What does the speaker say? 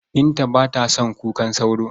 Binta ba ta son kukan sauro.